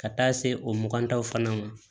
Ka taa se o mugan taw fana ma